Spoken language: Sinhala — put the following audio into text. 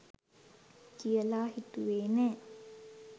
කියලා හිතුවේ නැහැ.